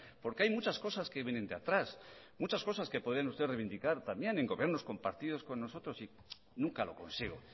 porque hay muchas cosas que vienen de atrás muchas cosas que podrían ustedes reivindicar también en gobiernos compartidos con nosotros y nunca lo consigo